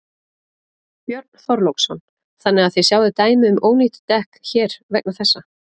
Björn Þorláksson: Þannig að þið sjáið dæmi um ónýt dekk hér vegna þessa?